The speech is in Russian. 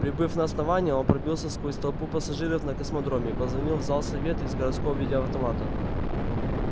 прибыв на основание он пробился сквозь толпу пассажиров на космодроме и позвонил в зал совета из городского видеоавтомата